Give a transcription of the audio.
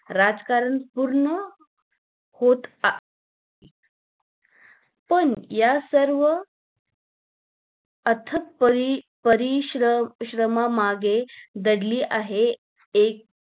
राजकारण पूर्ण होत आले. पण या सर्व अथक परि परिश्रमामागे दडली आहे एक